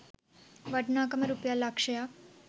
වටිනාකම රුපියල් ලක්ෂයක්